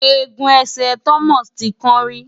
Egun ẹsẹ̀ Thomas ti kán rí.